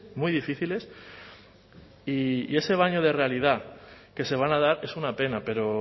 muy difíciles y ese baño de realidad que se van a dar es una pena pero